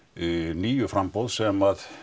níu framboð sem